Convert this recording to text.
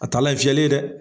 A taalan ye fiyɛli ye dɛ.